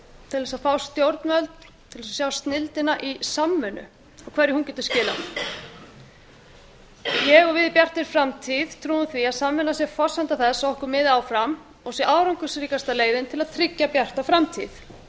til þess að fá stjórnvöld til þess að sjá snilldina í samvinnu og hverju hún getur skilað ég og við í bjartri framtíð trúum því að samvinna sé forsenda þess að okkur miði áfram og sé árangursríkasta leiðin til að tryggja bjarta framtíð mér